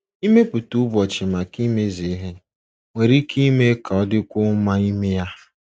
Ịmepụta ụbọchị maka imezu ihe nwere ike ime ka ọ dịkwuo mma ime ya.